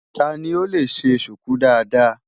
Ta ni ó lè ṣe ṣùkú dáadáa?